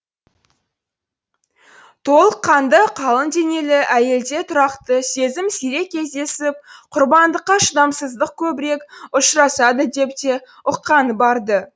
толық қанды қалың денелі әйелде тұрақты сезім сирек кездесіп құрбандыққа шыдамсыздық көбірек ұшырасады деп те ұққаны бар ды